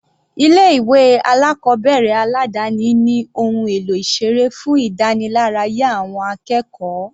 Ilé ìwé alákọ̀ọ́bẹ̀rẹ̀ aládáni ní ohun èlò ìseré fún ìdániláráyá àwọn akẹ́kọ̀ọ́.